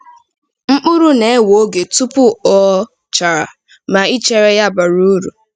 Mkpụrụ na-ewe oge tupu o um chara, ma ichere ya bara uru.